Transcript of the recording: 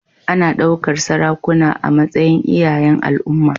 Ana ɗaukar sarakuna a matsayin iyayen al'umma.